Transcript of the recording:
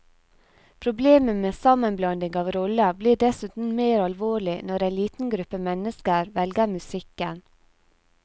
Problemet med sammenblanding av roller blir dessuten mer alvorlig når en liten gruppe mennesker velger musikken.